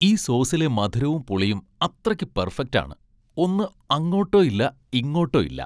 ഈ സോസിലെ മധുരവും പുളിയും അത്രയ്ക്ക് പെർഫെക്ട് ആണ്, ഒന്ന് അങ്ങോട്ടോ ഇല്ല, ഇങ്ങോട്ടോ ഇല്ല.